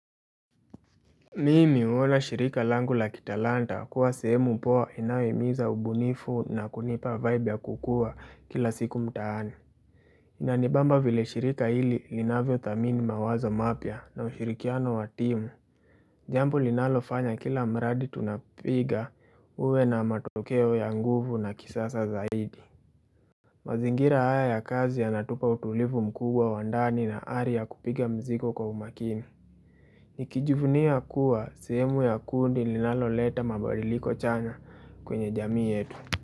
Mimi huona shirika langu la kitalanta kuwa sehemu poa inayo himiza ubunifu na kunipa vibe ya kukua kila siku mtaani. Inanibamba vile shirika hili linavyo thamini mawazo mapya na ushirikiano wa timu. Jambo linalofanya kila mradi tunapiga uwe na matokeo ya nguvu na kisasa zaidi. Mazingira haya ya kazi yanatupa utulivu mkubwa wa ndani na ari kupiga mzigo kwa umakimi. Nikijuvunia kuwa, sehemu ya kundi linalo leta mabadiliko chana kwenye jamii yetu.